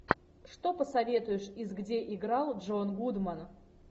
что посоветуешь из где играл джон гудман